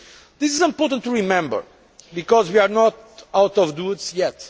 This is important to remember because we are not out of the woods yet.